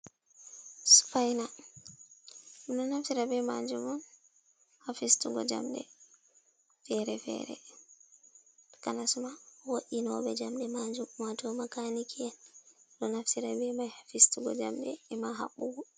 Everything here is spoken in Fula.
Sipaina, ɓeɗo naftira bee majum on ha fistugo jamɗe feere feere, Takanas ma wo'inooɓe jamɗe majum, waato makaniki'en ɗo naftira be mai haa fistugo jamɗe e ma habbugo.